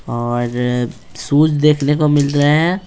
और शूज देखने को मिल रहे हैं।